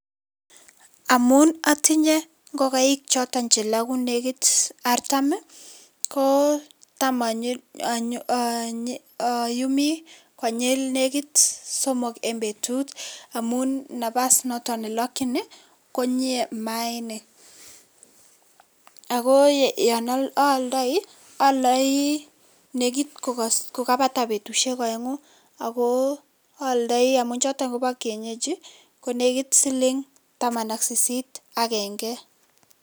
Amun atinye ngokaik choton che loku nekiit artam, ko tam ayumi konyil nekiit somok eng betut amun nafasit noton nelokchin konyie maainik ako yon aaldai, aldai nekiit kokabata betusiek aengu ako aldai amun choto koba kienyeji konekiit siling taman ak sisit agenge.